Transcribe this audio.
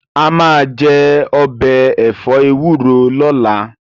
A máa jẹ ọbẹ̀ ẹ̀fọ́ ewúro lọ́la